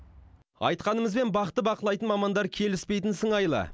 айтқанымызбен бақты бақылайтын мамандар келіспейтін сыңайлы